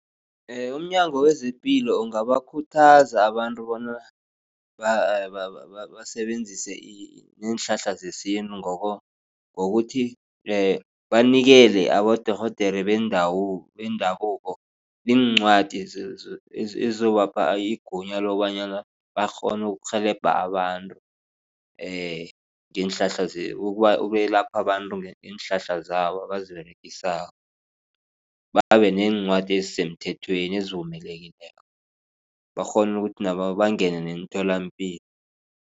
UmNyango wezePilo ungabakhuthaza abantu bona basebenzise iinhlahla zesintu. Ngokuthi banikele abodorhodere bendabuko iincwadi ezizobapha igunya lokobanyana bakghone ukurhelebha abantu ukwelapha abantu ngeenhlahla zabo abaziberegisako. Babe neencwadi ezisemthethweni ezivumelekileko bakghone ukuthi nabo bangene emtholapilo.